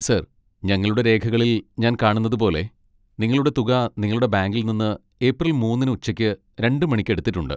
Sir, ഞങ്ങളുടെ രേഖകളിൽ ഞാൻ കാണുന്നത് പോലെ, നിങ്ങളുടെ തുക നിങ്ങളുടെ ബാങ്കിൽ നിന്ന് ഏപ്രിൽ മൂന്നിന്ന് ഉച്ചയ്ക്ക് രണ്ട് മണിക്ക് എടുത്തിട്ടുണ്ട്.